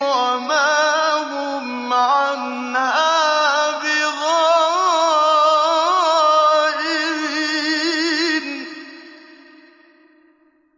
وَمَا هُمْ عَنْهَا بِغَائِبِينَ